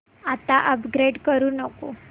आता अपग्रेड करू नको